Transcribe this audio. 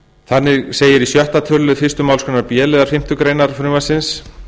þannig segir í sjötta tölulið fyrstu málsgrein b liðar fimmtu grein frumvarpsins